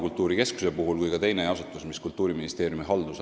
Kultuuriministeeriumi haldusalas kolivad nii Rahvakultuuri Keskus kui ka üks teine asutus.